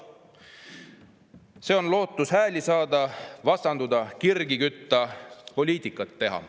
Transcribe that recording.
Sellega loodetakse hääli saada, vastanduda, kirgi kütta, poliitikat teha.